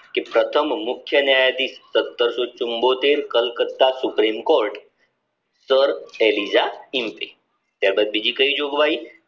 પ્રથમ મુખ્ય ન્યાયાધીશ સતરસો ચુમ્મોતેર કોલકાત્તા suprim court sir ચર્ચ એલિઝા કીનતિ બીજી કઈ જોગવાઈ